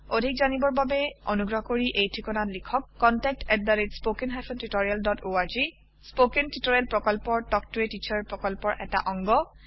অধিক জানিবৰ বাবে অনুগ্ৰহ কৰি এই ঠিকনাত লিখক contactspoken tutorialorg স্পৌকেন টিওটৰিয়েলৰ প্ৰকল্প তাল্ক ত a টিচাৰ প্ৰকল্পৰ এটা অংগ